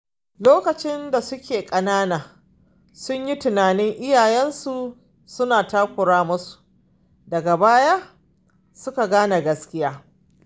Lokacin da suke ƙanana, sun yi tunanin iyayensu suna takura musu, daga baya suka gane gaskiya.